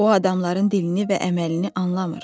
O adamların dilini və əməlini anlamır.